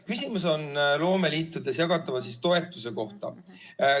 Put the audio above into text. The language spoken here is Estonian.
Küsimus on loomeliitudes jagatava toetuse kohta.